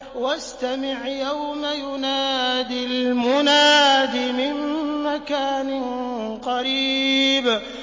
وَاسْتَمِعْ يَوْمَ يُنَادِ الْمُنَادِ مِن مَّكَانٍ قَرِيبٍ